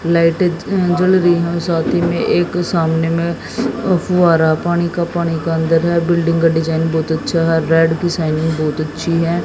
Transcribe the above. लाइटें जल अ रही हैं साथी में एक सामने में फुव्वारा है पानी का पानी के अंदर है बिल्डिंग का डिजाइन बहुत अच्छा है रेड की शाइनिंग बहुत अच्छी है।